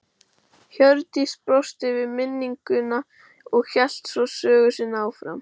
Hjördís brosti við minninguna og hélt svo sögu sinni áfram